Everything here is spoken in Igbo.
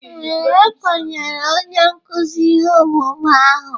Ee, e kenyere onye nkụzi ihe omume ahụ.